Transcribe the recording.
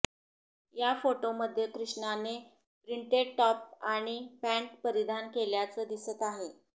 या फोटोमध्ये कृष्णाने प्रिंटेड टॉप आणि पँट परिधान केल्याचं दिसत आहे